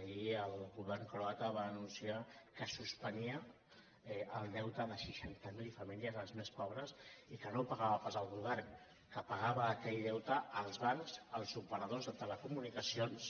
ahir el govern croata va anunciar que suspenia el deute de seixanta mil famílies les més pobres i que no ho pagava pas el govern que pagaven aquell deute els bancs els operadors de telecomunicacions